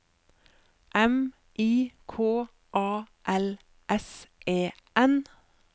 M I K A L S E N